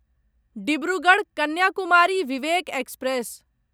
Dibrugarh Kanyakumari Vivek express